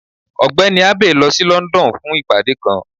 Ọgbẹni Abey lọ sí London fun ìpade kan.